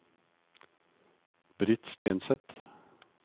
Britt Stenseth